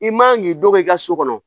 I man k'i dɔgɔ i ka so kɔnɔ